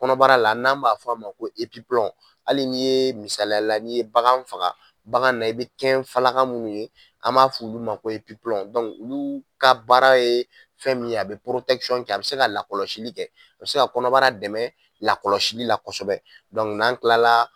Kɔnɔbara la, n'anw b'a fɔ a ma ko . Hali ni ye misaliya la ni ye bagan faga bagan na i be kɛn munnu ye ,an b'a f'olu ma ko ka baara ye fɛn minye, a be kɛ a be se ka lakɔlɔli kɛ ,a be se ka kɔnɔbara dɛmɛ lakɔlɔsili la kɔsɛbɛ. n'an kilala